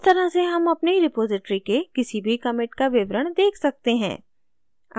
इस तरह से हम अपनी repository के किसी भी commit का विवरण देख सकते हैं